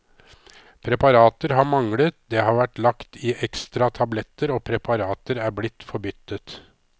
Preparater har manglet, det har vært lagt i ekstra tabletter, og preparater er blitt forbyttet.